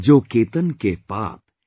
जो केतन के पात,